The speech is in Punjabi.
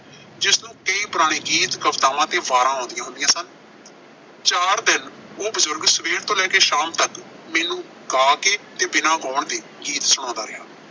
ਜਿਸਨੂੰ ਕਈ ਪੁਰਾਣੇ ਗੀਤ, ਕਵਿਤਾਵਾਂ ਤੇ ਵਾਰਾਂ ਆਉਂਦੀਆਂ ਹੁੰਦੀਆਂ ਸਨ। ਚਾਰ ਦਿਨ ਉਹ ਬਜ਼ੁਰਗ ਸਵੇਰ ਤੋਂ ਲੈ ਕੇ ਸ਼ਾਮ ਤੱਕ ਮੈਨੂ ਗਾ ਕੇ ਤੇ ਬਿਨਾਂ ਗਾਉਣ ਦੇ ਸੁਣਾਉਂਦਾ ਰਿਹਾ।